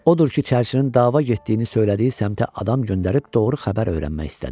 Odur ki, çərçinin dava getdiyini söylədiyi səmtə adam göndərib doğru xəbər öyrənmək istədi.